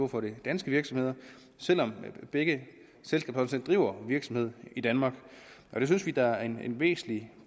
for den danske virksomhed selv om begge selskaber driver virksomhed i danmark det synes vi da er en væsentlig